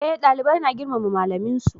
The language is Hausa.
Eh dalibai na girmama malamin su